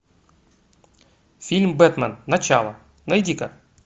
фильм бэтмен начало найди ка